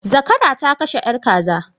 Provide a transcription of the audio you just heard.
Zakara ta kashe yar kaza.